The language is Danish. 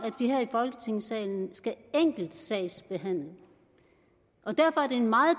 folketingssalen skal enkeltsagsbehandle og derfor er det en meget